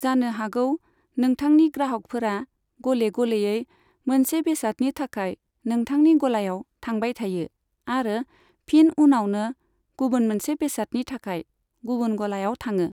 जानो हागौ नोंथांनि ग्राहकफोरा गले गलेयै मोनसे बेसादनि थाखाय नोंथांनि गलायाव थांबाय थायो आरो फिन उनावनो गुबुन मोनसे बेसादनि थाखाय गुबुन गलायाव थाङो।